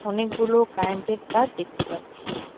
অনেকগুলো কারেন্টের তার দেখতে পাচ্ছি।